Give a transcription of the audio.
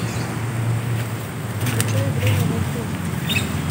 включай время волков